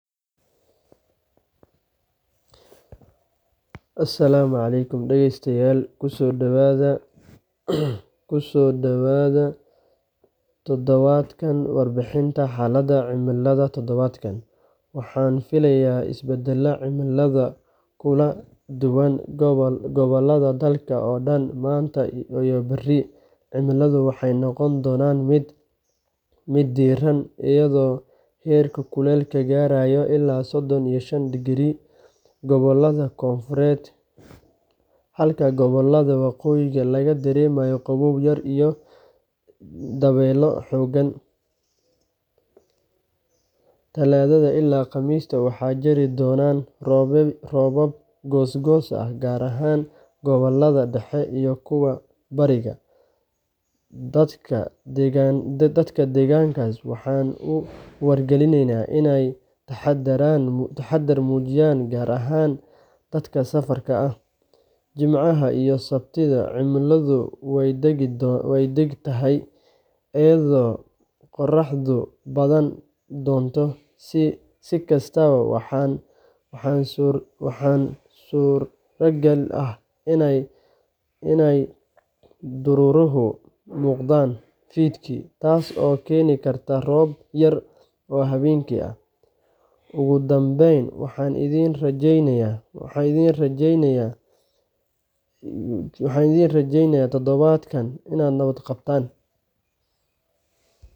warbixinta xalada cimiladha tadabadka